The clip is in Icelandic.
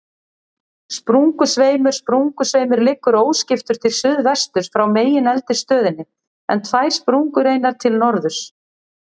Sprungusveimur Sprungusveimur liggur óskiptur til suðsuðvesturs frá megineldstöðinni, en tvær sprungureinar til norðurs.